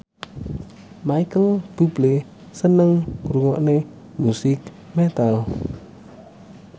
Micheal Bubble seneng ngrungokne musik metal